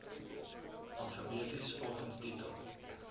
alfabeties volgens titel